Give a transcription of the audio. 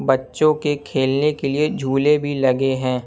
बच्चों के खेलने के लिए झूले भी लगे हैं।